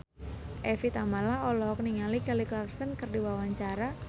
Evie Tamala olohok ningali Kelly Clarkson keur diwawancara